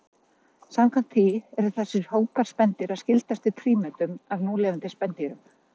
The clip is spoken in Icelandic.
Samkvæmt því eru þessir hópar spendýra skyldastir prímötum af núlifandi spendýrum.